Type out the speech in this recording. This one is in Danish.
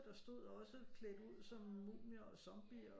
Der stod også klædt ud som mumier og zombier